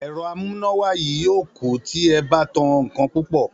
È̩ro̩ amúnáwá yìí yóò kú tí e̩ bá tan nǹkan púpò̩